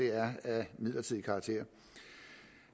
er af midlertidig karakter